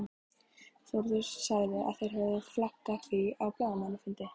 Þórður sagði að þeir hefðu flaggað því á blaðamannafundi.